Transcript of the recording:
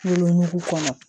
Wolonugu kɔnɔ